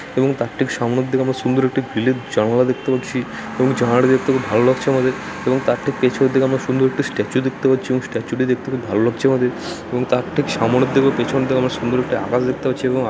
এবং তার ঠিক সামনে দিকে আমরা সুন্দর একটি গ্রিল -এর জানালা দেখতে পাচ্ছি এবং জানালা টা দেখতে খুব ভালো লাগছে আমাদের |এবং তার ঠিক পেছনে দিকে আমরা সুন্দর একটি স্ট্যাচু দেখতে পাচ্ছি এবং স্ট্যাচু টি দেখতে খুব ভালো লাগছে আমাদের | এবং তার ঠিক সামনে দিকে ও পিছনে থেকে আমরা সুন্দর একটি আকাশ দেখতে পাচ্ছি | এবং আক--